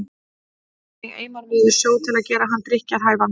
Hvernig eimar maður sjó til að gera hann drykkjarhæfan?